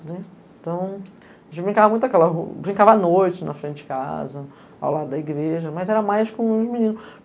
Entao, a gente brincava muito naquela rua, brincava à noite na frente de casa, ao lado da igreja, mas era mais com os meninos.